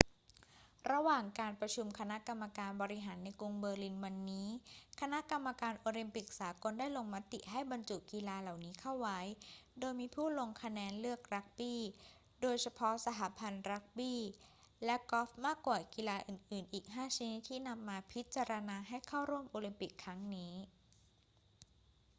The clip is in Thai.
ระหว่างการประชุมคณะกรรมการบริหารในกรุงเบอร์ลินวันนี้ คณะกรรมการโอลิมปิกสากลได้ลงมติให้บรรจุกีฬาเหล่านี้เข้าไว้ โดยมีผู้ลงคะแนนเลือกรักบี้ โดยเฉพาะสหพันธ์รักบี้ และกอล์ฟมากกว่ากีฬาอื่นๆ อีก 5 ชนิดที่นำมาพิจารณาให้เข้าร่วมโอลิมปิกครั้งนี้